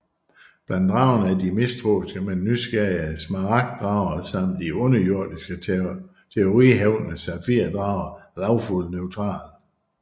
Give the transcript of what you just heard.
Blandt dragerne er de mistroiske men nysgerrige smaragd drager samt de underjordiske territoriehævdende safir drager Lawful Neutral